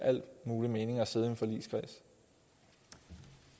mening at sidde i